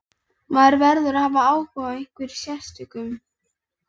Maður verður að hafa áhuga á einhverjum sérstökum.